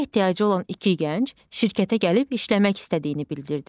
İşə ehtiyacı olan iki gənc şirkətə gəlib işləmək istədiyini bildirdi.